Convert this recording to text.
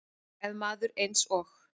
Ef maður eins og